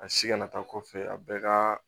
A si kana taa kɔfɛ a bɛɛ ka